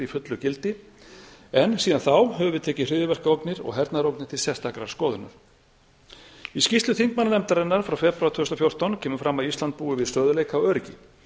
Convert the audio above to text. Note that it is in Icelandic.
fullu gildi en síðan þá höfum við tekið hryðjuverkaógnir og hernaðarógnir til sérstakrar skoðunar í skýrslu þingmannanefndarinnar frá febrúar tvö þúsund og fjórtán kemur fram að ísland búi við stöðugleika og öryggi